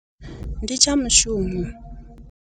Ndi tsha mushumo.